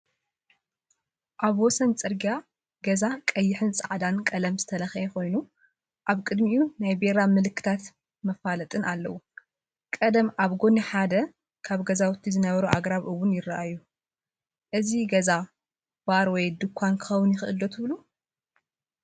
ኣብ ወሰን ጽርግያ ገዛ ቀይሕን ጻዕዳን ቀለም ዝተለኽየ ኮይኑ፡ ኣብ ቅድሚኡ ናይ ቢራ ምልክታትን መፋለጢን ኣለው። ቀደም ኣብ ጎኒ ሓደ ካብ ገዛውቲ ዝነበሩ ኣግራብ እውን ይረኣዩ። እዚ ገዛ ባር ወይ ድኳን ክኸውን ይኽእል ድዩ ትብሉ?